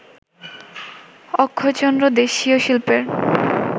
অক্ষয়চন্দ্র দেশীয় শিল্পের